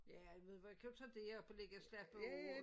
Ja du ved hvor jeg kører derop og lægger og slapper af